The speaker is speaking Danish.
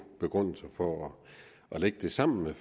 begrundelser for at lægge det sammen med